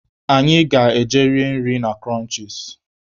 Anyị ga-eje rie nri na Kụrọnchis.